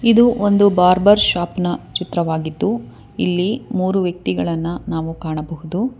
ಇದು ಒಂದು barber shop ನ ಚಿತ್ರವಾಗಿದ್ದು ಇಲ್ಲಿ ಮೂರು ವ್ಯಕ್ತಿಗಳನ್ನ ನಾವು ಕಾಣಬಹುದು.